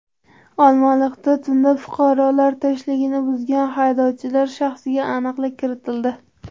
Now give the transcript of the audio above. Olmaliqda tunda fuqarolar tinchligini buzgan haydovchilar shaxsiga aniqlik kiritildi.